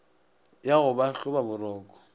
ya go ba hloba boroko